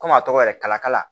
Komi a tɔgɔ yɛrɛ kalakala